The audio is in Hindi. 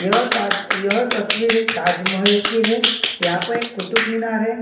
यह ताज यह तस्वीर एक ताजमहल की है यहाँ पर एक कुतुबमिनार है।